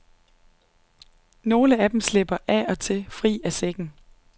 Nogle af dem slipper af og til fri af sækken.